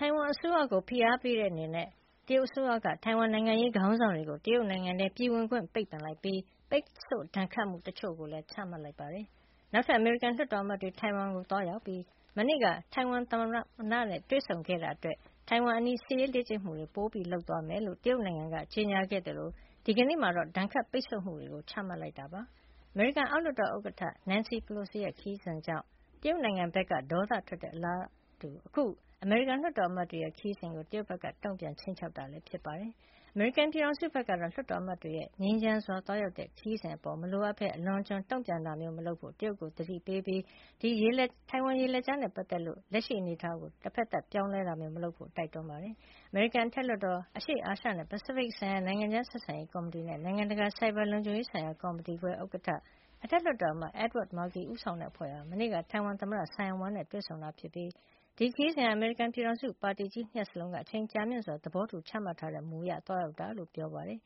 ထိုင်ဝမ်အစိုးရကို ဖိအားပေးတဲ့အနေနဲ့ တရုတ်အစိုးရက ထိုင်ဝမ် နိုင်ငံရေး ခေါင်းဆောင်တွေကို တရုတ်နိုင်ငံထဲ ပြည်ဝင်ခွင့်ပိတ်ပင်လိုက်ပြီး ပိတ်ဆို့ ဒဏ်ခတ်မှုတချို့လည်း ချမှတ်လိုက်ပါတယ်။ နောက်ထပ် အမေရိကန်လွှတ်တော်အမတ်တွေ ထိုင်ဝမ်ကို သွားရောက်ပြီး မနေ့က ထိုင်ဝမ်သမ္မတနဲ့ တွေဆုံခဲ့တာအတွက် ထိုင်ဝမ်အနီး စစ်ရေးလေ့ကျင့်မှုတွေ ပိုလုပ်သွားမယ်လို့ တရုတ် နိုင်ငံက ကြေညာခဲ့သလို ဒီကနေ့မှာတော့ ဒဏ်ခတ် ပိတ်ဆို့မှုတွေ ချမှတ်လိုက်တာဖြစ်ပါတယ်။ အမေရိကန် အောက်လွှတ်တော် ဥက္ကဋ္ဌ Nancy Pelosi ရဲ့ ခရီးစဉ်ကြောင့် တရုတ်နိုင်ငံဘက်က ဒေါသထွက်ခဲ့တဲ့ အလားတူ အခု အမေရိကန်လွှတ်တော်အမတ်တွေရဲ့ခရီးစဉ်ကို တရုတ်ဘက်က တုံ့ပြန် ခြိမ်းခြောက်တာပါ။ အမေရိကန် ပြည်ထောင်စုဘက်ကတော့ လွှတ်တော်အမတ်တွေရဲ့ ငြိမ်းချမ်းစွာ သွားရောက်တဲ့ ခရီးစဉ်အပေါ်မှာ မလိုအပ်ဘဲ အလွန်အကျွံတုံ့ပြန်တာမျိုးမလုပ်ဖို့ တရုတ်နိုင်ငံကိုသတိပေးပြီး ထိုင်ဝမ် ရေလက်ကြားနဲ့ပတ်သက်လို့ လက်ရှိ အနေအထားကို တဘက်သတ် ပြောင်းလဲတာမျိုးမလုပ်ဖို့လည်း တိုက်တွန်းလိုက်ပါတယ်။ အမေရိကန်အထက်လွှတ်တော် အရှေ့အာရှနဲ့ ပစိတ်ဖိတ်ဆိုင်ရာ နိုင်ငံခြားဆက်ဆံရေး ကော်မတီနဲ့ နိုင်ငံတကာ ဆိုက်ဘာလုံခြုံရေးဆိုင်ရာ ကော်မတီခွဲ ဥက္ကဋ္ဌ အထက်လွှတ်တော်အမတ် Edward Markey ဦးဆောင်တဲ့အဖွဲ့ဟာ မနေ့က ထိုင်ဝမ်သမ္မတ Tsai Ing-wen နဲ့ တွေ့ဆုံခဲ့ပြီး ဒီ ခရီးစဉ်ဟာ အမေရိကန်ပြည်ထောင်စု ပါတီကြီး ၂ ရပ်စလုံး အချိန်ကြာမြင့်စွာ သဘောတူချမှတ်ထားတဲ့ မူဝါဒအရ သွားရောက်တာ ဖြစ်တဲ့အကြောင်း အမေရိကန်ပြည်